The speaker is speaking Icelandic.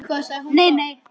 Nei, nei.